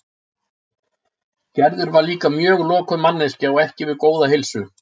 Gerður var líka mjög lokuð manneskja og ekki við góða heilsu.